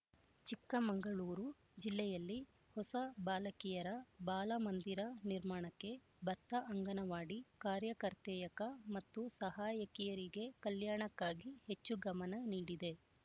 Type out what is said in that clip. ಚಿಕ್ಕಮಂಗಳೂರು ಜಿಲ್ಲೆಯಲ್ಲಿ ಹೋಸ ಬಾಲಕಿರ ಬಾಲ ಮಂದಿರ ನಿರ್ಮಾಣಕ್ಕೆ ಬತ್ತ ಅಂಗನವಾಡಿ ಕಾರ್ಯಕರ್ತೆಯಕ ಮತ್ತು ಸಹಾಯಕಿಯರಿಗೆ ಕಲ್ಯಾಣಕ್ಕಾಗಿ ಹೆಚ್ಚು ಗಮನ ನೀಡಿದೆ